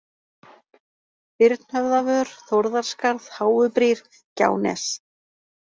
Birnhöfðavör, Þórðarskarð, Háubrýr, Gjánes